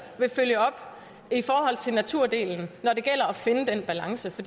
vil følge op i forhold til naturdelen når det gælder om at finde den balance for